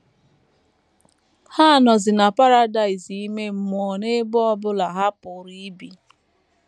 Ha nọzi na paradaịs ime mmụọ n’ebe ọ bụla ha pụrụ ibi.